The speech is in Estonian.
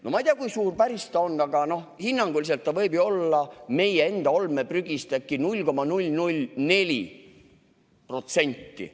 No ma ei tea, kui suur ta päriselt on, aga hinnanguliselt võib ta ju olla meie olmeprügist äkki 0,004%.